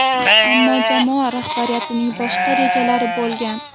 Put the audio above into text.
Ammo jamoa rahbariyatining boshqa rejalari bo‘lgan.